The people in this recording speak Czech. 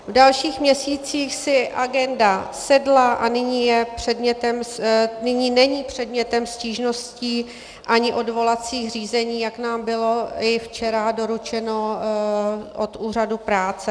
V dalších měsících si agenda sedla a nyní není předmětem stížností ani odvolacích řízení, jak nám bylo i včera doručeno od úřadu práce.